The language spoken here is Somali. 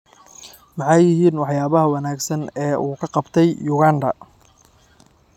Maxay yihiin waxyaabaha wanaagsan ee uu ka qabtay Uganda?